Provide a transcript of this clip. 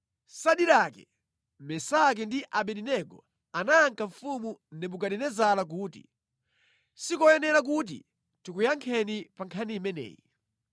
Sadirake, Mesaki ndi Abedenego anayankha mfumu Nebukadinezara kuti, “Sikoyenera kuti tikuyankheni pa nkhani imeneyi.